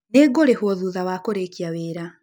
Nĩngũrĩhwo thutha wa kũrĩkia wĩra.